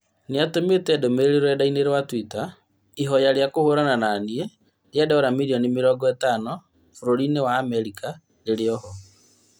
Nĩatũmĩte ndũmĩrĩri rũrendai-inĩ rwa Twitter, ihoya rĩa kũhũrana na niĩ ria Dora mirioni mĩrongo ĩtano bũrũri-inĩ wa Amerika rĩrĩoho